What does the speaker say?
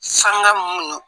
Sanga mun